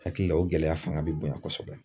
Hakili la o gɛlɛya fanga bɛ bonya kosɛbɛ